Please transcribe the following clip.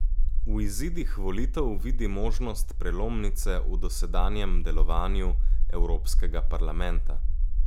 V izidih volitev vidi možnost prelomnice v dosedanjem delovanju Evropskega parlamenta.